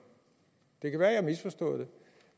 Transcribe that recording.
det kan være at jeg har misforstået det